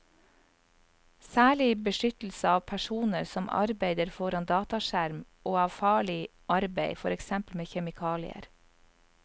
Særlig beskyttelse av personer som arbeider foran dataskjerm og av farlig arbeid, for eksempel med kjemikalier.